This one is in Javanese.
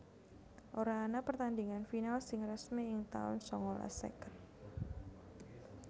Ora ana pertandingan final sing resmi ing taun sangalas seket